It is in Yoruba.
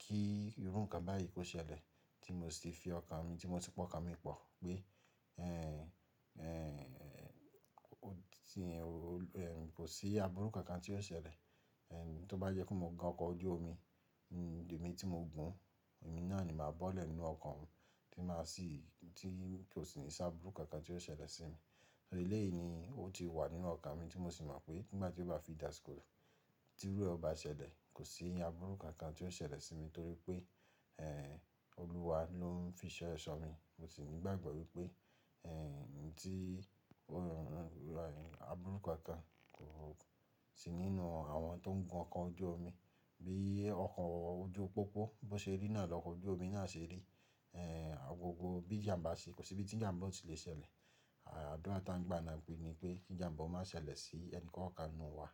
kí irú nǹkan báyìí kó ṣẹlẹ̀ tí mo sì ti fi ọkàn mi, tí mo sì pa ọkàn mi pọ̀ pé, ó ti, kò sí àbúrú kankan tí yóò ṣẹlẹ̀. Tó bá jẹ́ pé mo gun ọkọ̀ ojú omi, èmi tí mo gùn, èmi náà ni màá bọ́lẹ̀ nínú ọkọ̀ oun tí màá sì, tí kò sì ní sí àbúrú kankan tí yóò ṣẹlẹ̀ sí mi. Ẹlẹ́yìí ni ó ti wà nínú ọkàn mi tí mo sì mọ̀ pé nígbà tí ó bá fi di àsìkò, tí irú ẹ o bá ṣẹlẹ̀, kò sí àbúrú kankan tí yóò ṣẹlẹ̀ sí mi torí pé, Olúwa ló ń fi so ẹ̀ ṣọ́ mi. Mo sì ní ìgbàgbọ́ wípé, ohùn ti, àbúrú kankan kò sí nínú àwọn tó ń gun ọkọ̀ ojú omi. Bí ọkọ̀ ojú pópó bó ṣe rí náà lọkọ̀ ojú omi náà ṣe rí. Agogo bí ìjàǹbá ṣe kò sí ibi tí ìjàǹbá ò tí lè ṣẹlẹ̀. Àdúrà tá ń gbà náà kù ní pé kí ìjàǹbá o má ṣẹlẹ̀ sí ẹnì kọ́ọ̀kan nínú wa.